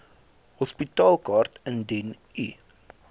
hospitaalkaart indien u